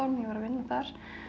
ég var að vinna þar